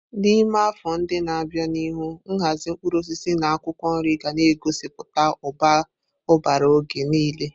N'ime afọ ndị na-abịa n'ihu, nhazi mkpụrụ osisi na akwụkwọ nri ga-egosiputa ụbara oge niile.